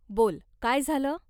बोल, काय झालं?